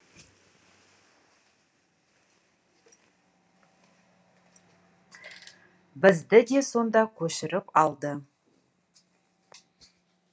бізді де сонда көшіріп алды